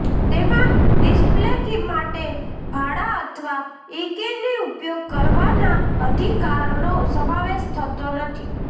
તેમાં display key માટે ભાડા અથવા ઈકેની ઉપયોગ કરવાના અધિકારનો સમાવેશ થતો નથી